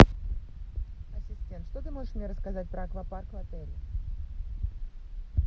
что ты можешь мне рассказать про аквапарк в отеле